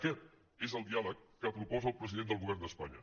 aquest és el diàleg que proposa el president del govern d’espanya